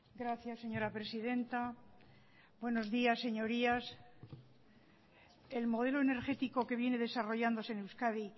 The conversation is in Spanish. gracias señora presidenta buenos días señorías el modelo energético que viene desarrollándose en euskadi